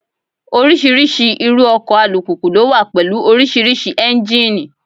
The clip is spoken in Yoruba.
Oríṣiríṣi irú ọkọ̀ alùpùpù ló wà pẹ̀lú oríṣiríṣi Ẹ́njíníì.